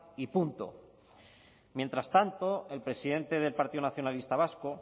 y punto mientras tanto el presidente del partido nacionalista vasco